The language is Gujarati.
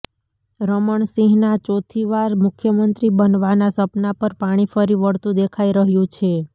રમણસિંહના ચોથી વાર મુખ્યમંત્રી બનવાના સપના પર પાણી ફરી વળતું દેખાઇ રહ્યું છે